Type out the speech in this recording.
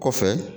Kɔfɛ